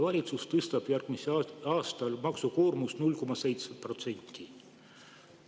Valitsus tõstab järgmisel aastal maksukoormust 0,7%.